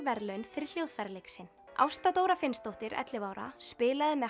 verðlaun fyrir hljóðfæraleik sinn Ásta Dóra Finnsdóttir ellefu ára spilaði með